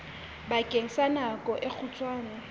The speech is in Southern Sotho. bakeng sa nako e kgutshwane